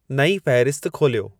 नईं फहिरिस्त खोलियो